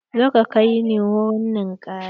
Zo ka kai ni ruwan ninkaya!